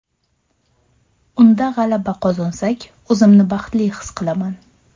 Unda g‘alaba qozonsak, o‘zimni baxtli his qilaman.